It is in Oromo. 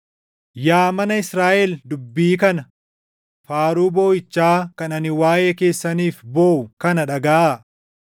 Yaa mana Israaʼel dubbii kana, faaruu booʼichaa kan ani waaʼee keessaniif booʼu kana dhagaʼaa: